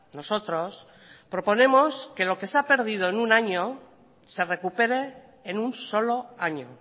nosotros proponemos que lo que se ha perdido en un año se recupere en un solo año